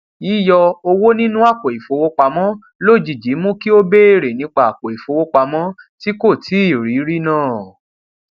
yíyọ owó nínú àpò ìfowópamọ lójijì mú kí ó béèrè nípa àpò ìfowópamọ tí kò tíì rí rí náà